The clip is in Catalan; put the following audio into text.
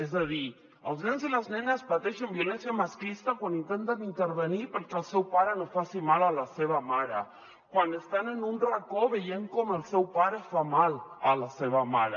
és a dir els nens i les nenes pateixen violència masclista quan intenten intervenir perquè el seu pare no faci mal a la seva mare quan estan en un racó veient com el seu pare fa mal a la seva mare